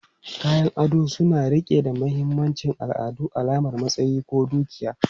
Kayan ado suna riƙe da mahimmancin al'adu, alamar matsayi ko dukiya.